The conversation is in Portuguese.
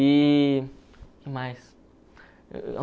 E... o que mais?